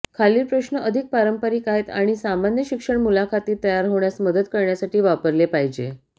खालील प्रश्न अधिक पारंपारिक आहेत आणि सामान्य शिक्षण मुलाखतीत तयार होण्यास मदत करण्यासाठी वापरले पाहिजे